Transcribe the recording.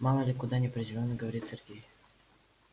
мало ли куда неопределённо говорит сергей